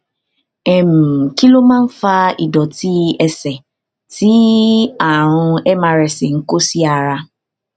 um kí ló máa ń fa ìdòtí ẹsè tí àrùn mrsa ń kó sí ara